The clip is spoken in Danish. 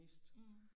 Mh